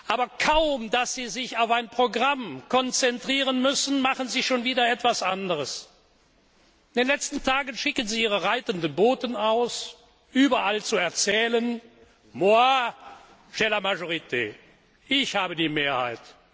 Aber kaum, dass Sie sich auf ein Programm konzentrieren müssen, machen Sie schon wieder etwas anderes. In den letzten Tagen schicken Sie Ihre reitenden Boten aus, um überall zu erzählen Moi, j'ai la majorité ich habe die Mehrheit.